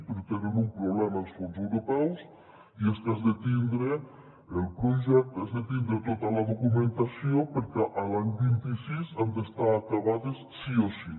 però tenen un problema els fons europeus i és que has de tindre el projecte tota la documentació perquè l’any vint sis han d’estar acabades sí o sí